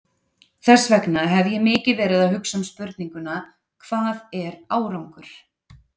Þess vegna hef ég mikið verið að hugsa um spurninguna, hvað er árangur?